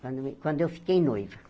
Quando me quando eu fiquei noiva.